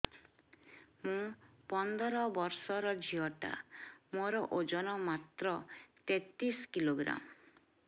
ମୁ ପନ୍ଦର ବର୍ଷ ର ଝିଅ ଟା ମୋର ଓଜନ ମାତ୍ର ତେତିଶ କିଲୋଗ୍ରାମ